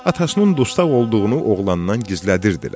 Atasının dustaq olduğunu oğlandan gizlədirdilər.